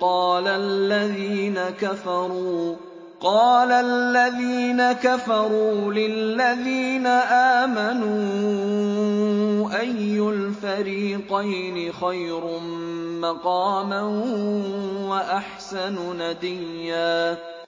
قَالَ الَّذِينَ كَفَرُوا لِلَّذِينَ آمَنُوا أَيُّ الْفَرِيقَيْنِ خَيْرٌ مَّقَامًا وَأَحْسَنُ نَدِيًّا